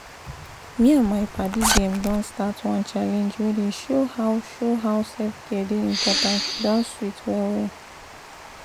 me and my paddy dem don start one challenge wey dey show how show how self-care dey important e don sweet well-well!